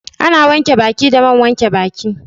Ana wanke baki da man wanke baki